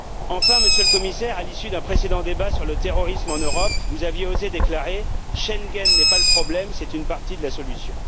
Enfin, Monsieur le Commissaire, à l'issue d'un précédent débat sur le terrorisme en Europe, vous aviez osé déclarer Schengen n'est pas le problème, c'est une partie de la solution.